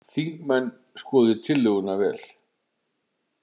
Þingmenn skoði tillöguna vel